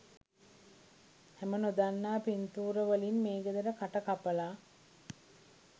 හැම නොදන්නා පින්තූරවලින් මේ ගෙදර කට කපලා